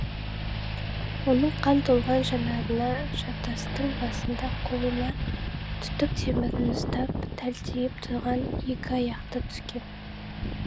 оның қан толған жанарына жартастың басында қолына түтік темірін ұстап тәлтиіп тұрған екі аяқты түскен